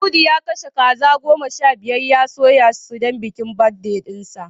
Audu ya kashe kaza goma sha biyar ya soya su don bikin birthday dinsa